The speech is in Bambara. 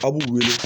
A b'u weele